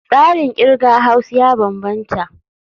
Tsarin kirga Haus ya bambanta.